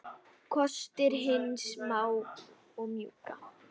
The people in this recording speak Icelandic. Kostir hins smáa og mjúka